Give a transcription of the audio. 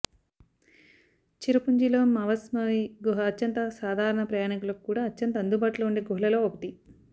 చిరపుంజీ లో మవస్మవి గుహ అత్యంత సాధారణ ప్రయాణీకులకు కూడా అత్యంత అందుబాటులో ఉండే గుహలలో ఒకటి